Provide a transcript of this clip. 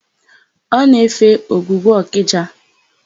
Ọ na-efe ogwugwu Ọkịja.